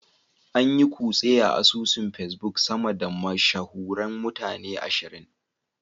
An yi kutse a asusun Facebook sama da mashahuran mutane ashirin.